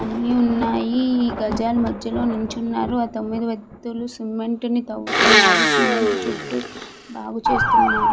అన్నీ ఉన్నాయి గజాలు మధ్యలో నించున్నారు ఆ తొమ్మిది వెక్తులు సిమెంట్ తోవుతున్నారు. సిమెంట్ చుట్టూ బాగు చేస్తున్నారు.